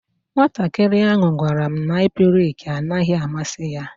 Nwatakịrị ahụ gwara m na aplịk naghị amasị ya.